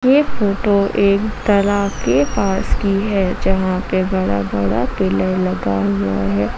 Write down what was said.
ये फोटो एक तालाब के पास की है जहां पे बड़ा बड़ा पिलर लगा हुआ है।